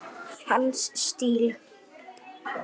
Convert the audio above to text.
Hans stíll.